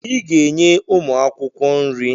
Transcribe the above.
I ga-enye ụmụ akwụkwọ nri!